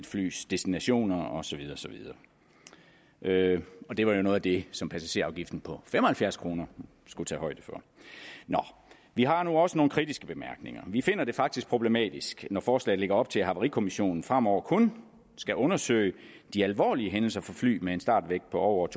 flys destinationer og så videre det det var jo noget af det som passagerafgiften på fem og halvfjerds kroner skulle tage højde for nå vi har nu også nogle kritiske bemærkninger vi finder det faktisk problematisk når forslaget lægger op til at havarikommissionen fremover kun skal undersøge de alvorlige hændelser for fly med en startvægt på over